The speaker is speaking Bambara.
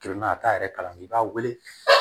Kelen na a t'a yɛrɛ kalan i b'a wele